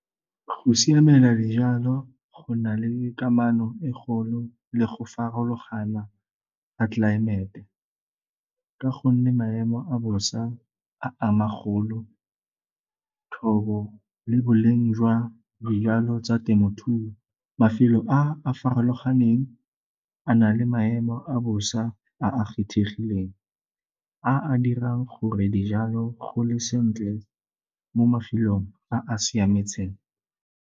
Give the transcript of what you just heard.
Go siamela dijalo go na le kamano e golo le go farologana ga tlelaemete ka gonne maemo a bosa a ama golo, thobo le boleng jwa dijalo tsa temothuo. Mafelo a a farologaneng a na le maemo a bosa a a kgethegileng, a a dirang gore dijalo gole sentle mo mafelong a a siametseng.